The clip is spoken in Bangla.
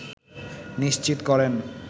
নিশ্চিত করেন